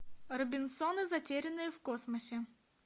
робинзоны затерянные в космосе